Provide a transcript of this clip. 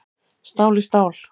Stál í stál